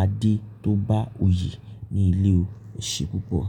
Adé tó bá oyè ní ilé o. Ẹ ṣe púpọ̀